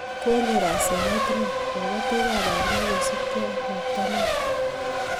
konyor asenet neo kabotiikab pandeek kosupgei ak robta neo